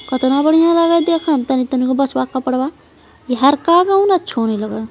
कतना बढ़िया लग हइ देखे में तनी तनी गो बचवा के कपड़वा ई हरका दे हौ ने छौरी लग हे।